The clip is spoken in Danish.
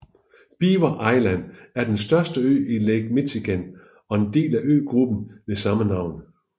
Beaver Island er den største ø i Lake Michigan og en del af øgruppen ved samme navn